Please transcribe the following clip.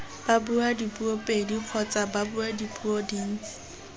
babuadipuo pedi kgotsa babuadipuo dintsi